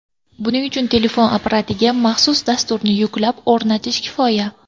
Buning uchun telefon apparatiga maxsus dasturni yuklab, o‘rnatish kifoya.